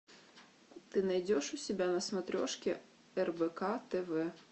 ты найдешь у себя на смотрешке рбк тв